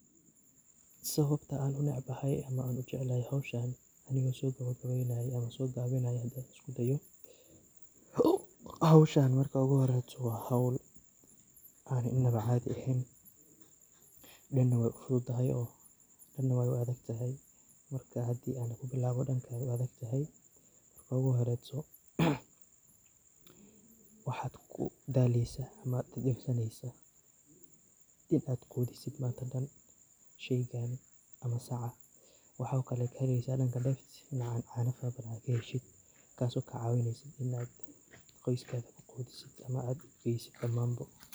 Sawabta aan u necbahay ama aan u jeclahay hawshaan anigoo soo gabagabeynaayo ama soo gaabinayo hadaan isku dayo. Hawshaan marka ugu horeyto waa hawl aan innaba caadi aheyn ,dhan na wey u fududahay oo dhan na wey u adag tahay ,marka haddi aan ku bilaawo dhanka ay u adag tahay marka ugu horeyto waxaad ku daleysaa ama dhib u arkeysaa in aad qudisid manta dhan sheygaan ama sacaan .Waxaa kale oo kaheleysaa dhanka dheefta caana fara badan aad ka heleyso taas oo kaa cawineyso in aad qoskaada ku qudisid ama aad u geysid dhammaan bo.